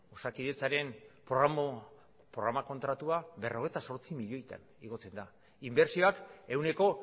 osakidetzaren programa kontratua berrogeita zortzi milioitan igotzen da inbertsioak ehuneko